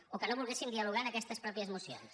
o que no volguéssim dialogar en aquestes mateixes mocions